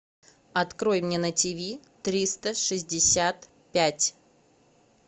открой мне на тиви триста шестьдесят пять